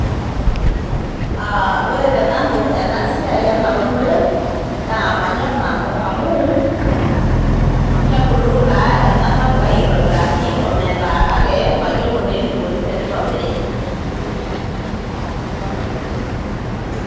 Aa ore tenanu ena siai ena unore naa manyorr nanu amu, kebulu taa ena tapukai oitobiraki ometaa kake mayiolo naa eneikuni teneitobiri.